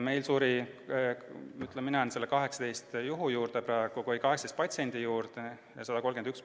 Meil suri 18 patsienti – mina jään praegu selle arvu juurde – ja hospitaliseerituid oli 131.